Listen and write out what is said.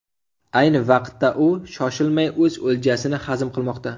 Ayni vaqtda u shoshilmay o‘z o‘ljasini hazm qilmoqda.